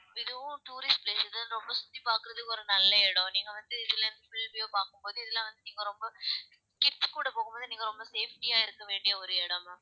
இதுவும் tourist place இது ரொம்ப சுத்தி பாக்குறதுக்கு ஒரு நல்ல இடம், நீங்க வந்து இதுல இருந்து பார்க்கும் போது இதுல வந்து நீங்க ரொம்ப kids கூட போகும்போது நீங்க ரொம்ப safety யா இருக்க வேண்டிய ஒரு இடம் ma'am